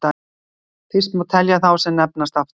Fyrsta má telja þá sem nefnast afturgöngur.